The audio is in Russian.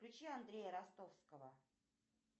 включи андрея ростовского